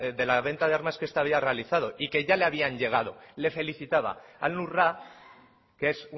le había realizado y que ya le habían llegado le felicitaba al nusra que es